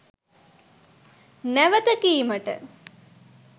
නැවත කීමට